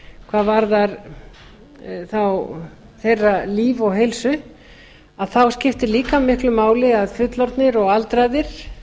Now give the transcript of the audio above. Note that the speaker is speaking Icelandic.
hvað varðar þeirra líf og heilsu þá skiptir líka miklu máli að fullorðnir og aldraðir